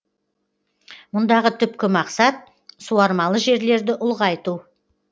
мұндағы түпкі мақсат суармалы жерлерді ұлғайту